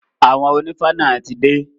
Àwọn onífá náà ti dé.